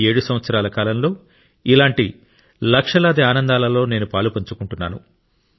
ఈ 7 సంవత్సరాలలో ఇలాంటి లక్షలాది ఆనందాలలో నేను పాలుపంచుకున్నాను